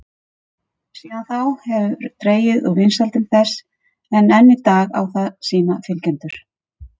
Síðan þá hefur dregið úr vinsældum þess en enn í dag á það sína fylgjendur.